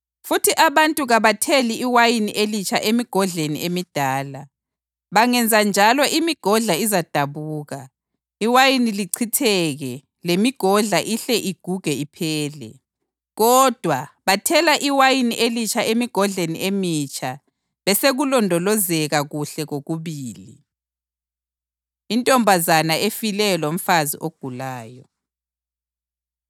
Futhi abantu kabatheli iwayini elitsha emigodleni emidala. Bangenzenjalo imigodla izadabuka, iwayini lichitheke lemigodla ihle iguge iphele. Kodwa, bathela iwayini elitsha emigodleni emitsha besekulondolozeka kuhle kokubili.” Intombazana Efileyo Lomfazi Ogulayo